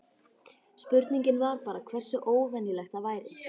Spurningin var bara hversu óvenjulegt það væri.